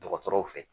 Dɔgɔtɔrɔw fɛ